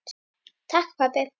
Takk pabbi.